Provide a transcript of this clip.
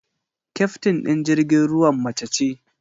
Kyaftin ɗin jirgin ruwan mace ce.